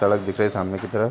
सड़क दिख रही है सामने की तरफ --